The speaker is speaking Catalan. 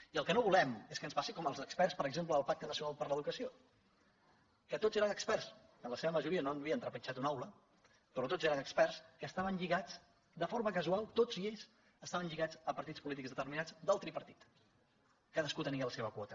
i el que no volem és que ens passi com amb els experts per exemple del pacte nacional per a l’educació que tots eren experts que en la seva majoria no havien trepitjat una aula però tots eren experts que estaven lligats de forma casual tots ells estaven lligats a partits polítics determinats del tripartit cadascú hi tenia la seva quota